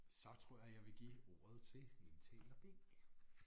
Så tror jeg jeg vil give ordet til indtaler B